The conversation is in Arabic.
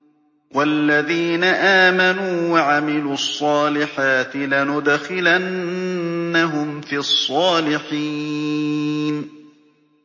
وَالَّذِينَ آمَنُوا وَعَمِلُوا الصَّالِحَاتِ لَنُدْخِلَنَّهُمْ فِي الصَّالِحِينَ